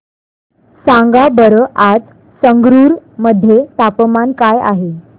सांगा बरं आज संगरुर मध्ये तापमान काय आहे